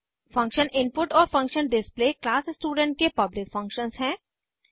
function input और function display class student के public functions हैं